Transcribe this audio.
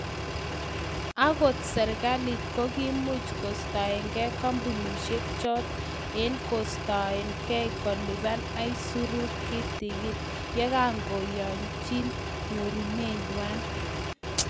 agot serikalit kogiimuch kostagan kambunisiek chot eng koistaen gei kolipa isurut kitigin, yegagiyanjinye nyorunet nywa